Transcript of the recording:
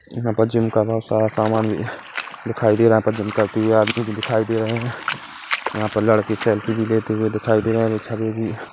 यहाँ पर जिम का बहुत सारा सामान दिखाई दे रहा है यहा पर जिम करते हुए आदमी भी दिखाई दे रहे हैं यहा पे लड़के सेल्फी भी लेते हुए दिखाई दे रहे हैं पीछे में भी--